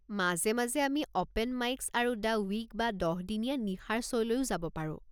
মাজে মাজে আমি অ'পেন মাইকছ আৰু দ্য ৱিক বা দহ দিনীয়া নিশাৰ শ্ব'লৈও যাব পাৰো।